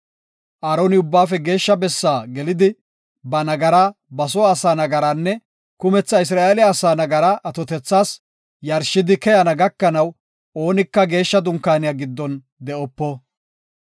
Aaroni Ubbaafe Geeshsha Bessaa gelidi, ba nagaraa, ba soo asaa nagaraanne kumetha Isra7eele asaa nagaraa atotethas yarshidi keyana gakanaw, oonika geeshsha Dunkaaniya giddon de7opo.